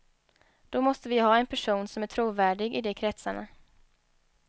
Då måste vi ha en person som är trovärdig i de kretsarna.